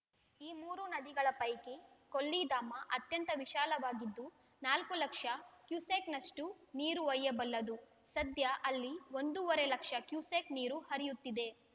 ಈ ಮೂರು ನದಿಗಳ ಪೈಕಿ ಕೊಲ್ಲಿಧಾಮ ಅತ್ಯಂತ ವಿಶಾಲವಾಗಿದ್ದು ನಾಲ್ಕು ಲಕ್ಷ ಕ್ಯುಸೆಕ್‌ನಷ್ಟುನೀರು ಒಯ್ಯಬಲ್ಲದು ಸದ್ಯ ಅಲ್ಲಿ ಒಂದುವರೆ ಲಕ್ಷ ಕ್ಯುಸೆಕ್‌ ನೀರು ಹರಿಯುತ್ತಿದೆ